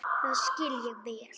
Það skil ég vel!